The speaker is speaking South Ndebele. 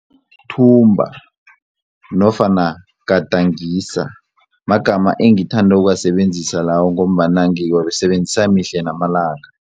Thumba nofana gadangisa magama engithanda ukuwasebenzisa lawo ngombana ngiwasebenzisa mihle namalanga.